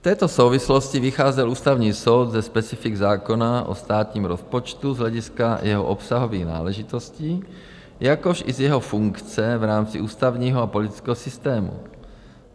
V této souvislosti vycházel Ústavní soud ze specifik zákona o státním rozpočtu z hlediska jeho obsahových náležitostí, jakož i z jeho funkce v rámci ústavního a politického systému.